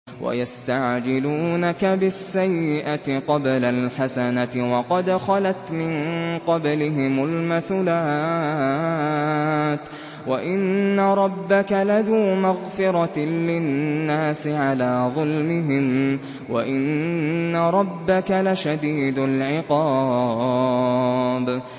وَيَسْتَعْجِلُونَكَ بِالسَّيِّئَةِ قَبْلَ الْحَسَنَةِ وَقَدْ خَلَتْ مِن قَبْلِهِمُ الْمَثُلَاتُ ۗ وَإِنَّ رَبَّكَ لَذُو مَغْفِرَةٍ لِّلنَّاسِ عَلَىٰ ظُلْمِهِمْ ۖ وَإِنَّ رَبَّكَ لَشَدِيدُ الْعِقَابِ